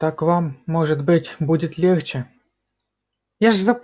так вам может быть будет легче